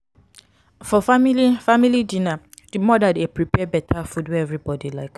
for family family dinner di mother dey prepare better food wey everybody like